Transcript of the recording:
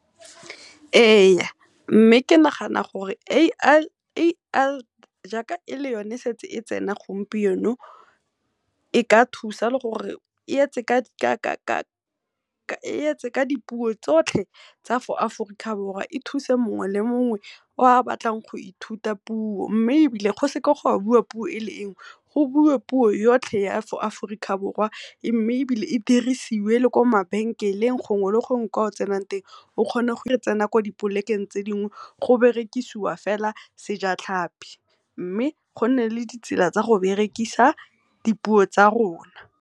Ee, mme ke nagana gore A_I jaaka e le yone e setse e tsena gompieno e ka thusa le gore e yetse ka dipuo tsotlhe tsa fo Aforika Borwa. E thuse mongwe le mongwe o a batlang go ithuta puo, mme ebile go seka ga bua puo e le nngwe go buiwe puo yotlhe ya mo Aforika Borwa. Mme ebile e dirisiwe le ko mabenkeleng gongwe le gongwe kwa o tsenang teng. O kgone go tsena kwa di polekeng tse dingwe go berekisiwa fela sejatlhapi mme go nne le ditsela tsa go berekisa di puo tsa rona.